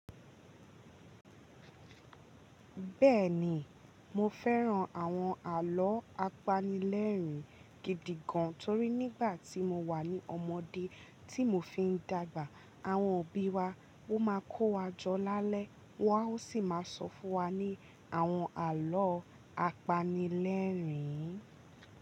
Bẹ́ẹ̀ni, mo fẹ́ran àwọn àlọ́ apanilẹ́rìn-ín gidi gan-an torí nígbà tí mo wà ní ọmọdé tí mo fi ń dàgbà, àwọn òbí wa ó máa ń kọ́ wa jọ lálẹ́, wọ́n á sì máa sọ fún wa ní àwọn àlọ́ apanilẹ́rìn-ín.